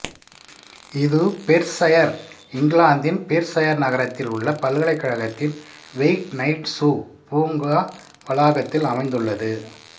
இது பெர்சயர் இங்கிலாந்தின் பெர்சயர் நகரத்தில் உள்ள பல்கலைக்கழகத்தின் வொயிட்நைட்சு பூங்கா வளாகத்தில் அமைந்துள்ளது